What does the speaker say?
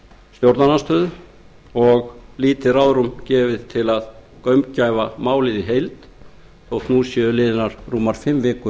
stjórnarandstöðuna og lítið ráðrúm gefið til þessa að gaumgæfa málið í nefnd þótt nú séu liðnar rúmar fimm vikur